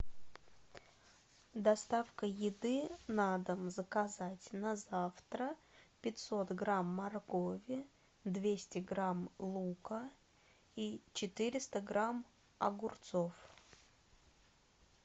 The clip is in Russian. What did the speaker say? доставка еды на дом заказать на завтра пятьсот грамм моркови двести грамм лука и четыреста грамм огурцов